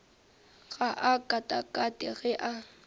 ga a katakate ge a